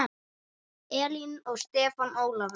Elín og Stefán Ólafur.